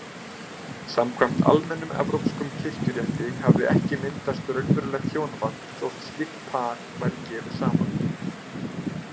Samkvæmt almennum evrópskum kirkjurétti hafði ekki myndast raunverulegt hjónaband þótt slíkt par væri gefið saman.